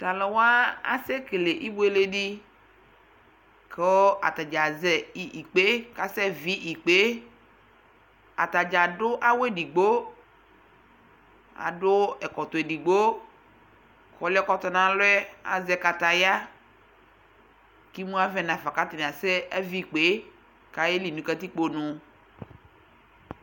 Tʋ alʋwa asɛkele ibʋele di kʋ atadza azɛ ikpe kʋ asɛvi ikpe e Atadza adʋ awʋ edigbo, adʋ ɛkɔtɔ edigbo kʋ ɔlʋɛ kɔtɔ n'alɔ yɛ azɛ kataya kʋ imʋ avɛ nafa kʋ atani asɛvi ikpe e kʋ ayeli nʋ katikpo nʋ